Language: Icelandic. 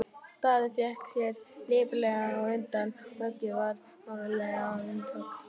Daði vék sér lipurlega undan og höggið varð hlálegt vindhögg.